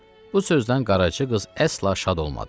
Bu sözdən Qaraca qız əsla şad olmadı.